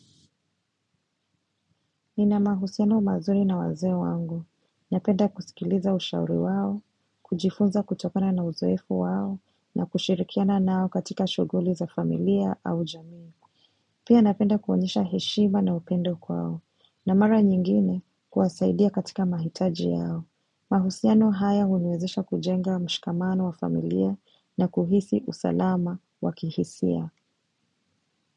Nina mahusiano mazuri na wazee wangu, napenda kusikiliza ushauri wao, kujifunza kutokana na uzoefu wao, na kushirikiana nao katika shughuli za familia au jamii. Pia napenda kuonyesha heshima na upendo kwao, na mara nyingine kuwasaidia katika mahitaji yao. Mahusiano haya huniwezesha kujenga mshikamano wa familia na kuhisi usalama wa kihisia.